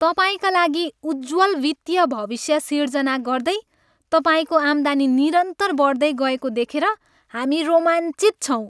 तपाईँका लागि उज्ज्वल वित्तीय भविष्य सिर्जना गर्दै तपाईँको आम्दानी निरन्तर बढ्दै गएको देखेर हामी रोमाञ्चित छौँ!